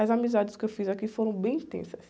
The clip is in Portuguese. As amizades que eu fiz aqui foram bem intensas.